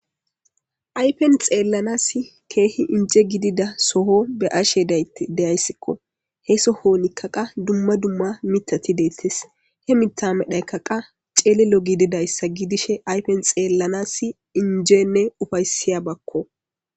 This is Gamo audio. Aypen xeellanas keehi inje gidida soho be ashe daytti deyayssikko he sohonikka qa dumma dumma mitati deettes he mitamedhaykka qa ceelelo gididayssa gidishe aypen xeellanas injeenne ufaysiya bakko.